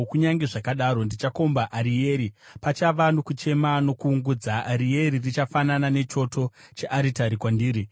Kunyange zvakadaro, ndichakomba Arieri; pachava nokuungudza uye nokuchema, richafanana nechoto chearitari kwandiri.